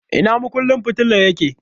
Ina makunnin fitilar yake?